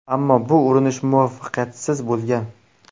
Ammo bu urinish muvaffaqiyatsiz bo‘lgan.